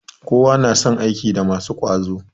Kowa na son aiki da masu ƙwazo